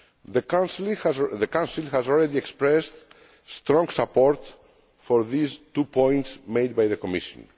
The Council has already expressed strong support for these two points made by the Commission.